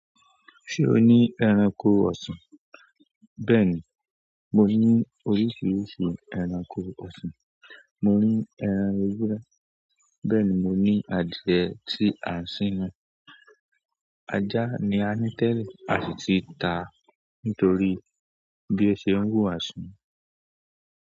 Sewo ni ẹranko ọ̀sìn. Bẹ́ẹ̀ni, mo ní oríṣiríṣi ẹranko ọsàn. Mo ní ẹran ewúrẹ́, bẹ́ni mo ní adìyẹ tí a ń sin. Ajá ni a ní tẹ́lẹ̀, a sì ti ta nítorí bí ó ṣe ń wù wá sùn.